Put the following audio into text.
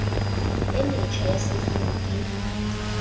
e metjha ya sekimi ke